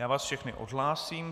Já vás všechny odhlásím.